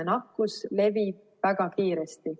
Nakkus levib väga kiiresti.